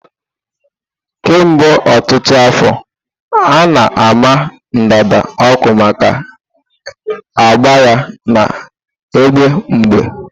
Kemgbe ọtụtụ afọ, a na-ama ndanda ọkụ maka ágbà ya na-egbu mgbu.